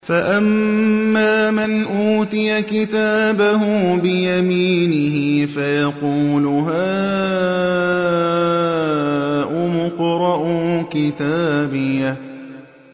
فَأَمَّا مَنْ أُوتِيَ كِتَابَهُ بِيَمِينِهِ فَيَقُولُ هَاؤُمُ اقْرَءُوا كِتَابِيَهْ